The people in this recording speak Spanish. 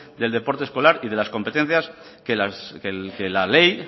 del deporte escolar y de las competencias que la ley